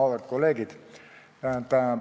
Auväärt kolleegid!